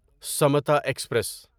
Samata express